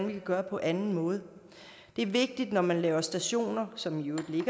vi kan gøre på anden måde det er vigtigt når man laver stationer som jo i